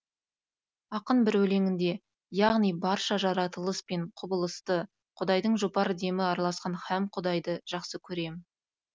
ақын бір өлеңінде яғни барша жаратылыс пен құбылысты құдайдың жұпар демі араласқан һәм құдайды жақсы көрем